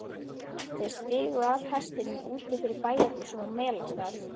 Þau stigu af hestunum úti fyrir bæjarhúsunum á Melstað.